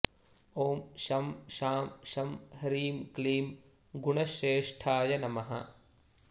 ॐ शं शां षं ह्रीं क्लीं गुणश्रेष्ठाय नमः